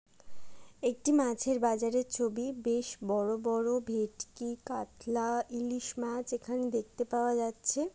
একটি মাছের বাজারের ছবি। বেশ বড় বড় ভেটকি কাতলা ইলিশ মাছ এখান দেখতে পাওয়া যাচ্ছে।